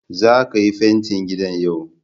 zaka Yi fenti gidan yau.